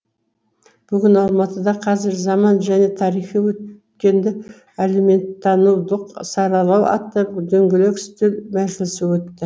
бүгін алматыда қазір заман және тарихи өткенді әлеуметтанулық саралау атты дөңгелек үстел мәжілісі өтті